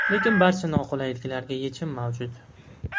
Lekin barcha noqulayliklarga yechim mavjud.